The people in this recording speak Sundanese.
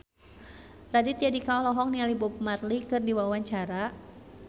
Raditya Dika olohok ningali Bob Marley keur diwawancara